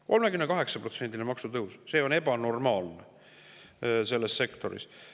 38%‑line maksutõus – see on ebanormaalne selles sektoris!